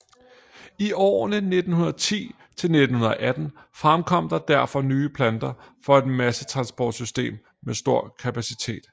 I årene 1910 til 1918 fremkom der derfor nye planer for et massetransportsystem med stor kapacitet